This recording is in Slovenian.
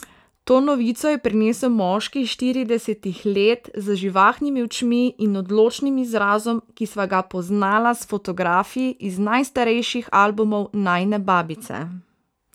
To novico je prinesel moški štiridesetih let z živahnimi očmi in odločnim izrazom, ki sva ga poznala s fotografij iz najstarejših albumov najine babice.